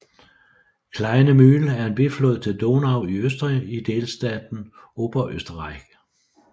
Kleine Mühl er en biflod til Donau i Østrig i delstaten Oberösterreich